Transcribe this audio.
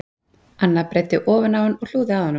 Anna breiddi ofan á hann og hlúði að honum